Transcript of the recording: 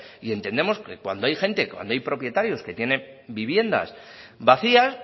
y entendemos que cuando hay gente que cuando hay propietarios que tienen viviendas vacías